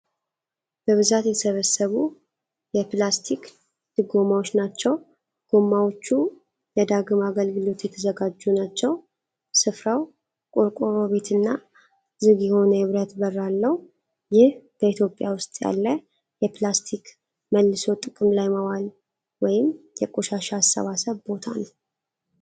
በብዛት የተሰበሰቡ የፕላስቲክ ድጎማዎች ናቸው። ጎማዎቹ ለዳግም አገልግሎት የተዘጋጁ ናቸው። ስፍራው ቆርቆሮ ቤትና ዝግ የሆነ የብረት በር አለው። ይህ በኢትዮጵያ ውስጥ ያለ የፕላስቲክ መልሶ ጥቅም ላይ ማዋል ወይም የቆሻሻ አሰባሰብ ቦታ ነው።